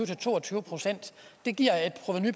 til to og tyve procent det giver et provenu